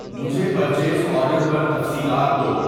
مجھے purchase order پر تفصیلات دو